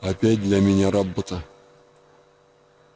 опять для меня работа